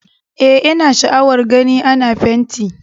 Eh, ina sha'awar gani ana fenti